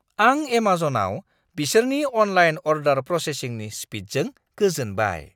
आं एमाजनआव बिसोरनि अनलाइन अर्डार प्रसेसिंनि स्पिडजों गोजोनबाय।